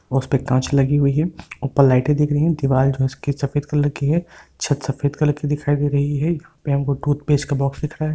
और उसपे काँच लगी हुई हैं ऊपर लाइटे दिख रही हैं | दीवाल जो है इसकी सफ़ेद कलर की हैं छत सफ़ेद कलर की दिखाई दे रही हैं फिर हमको टूथपेस्ट का बॉक्स दिख रहा हैं|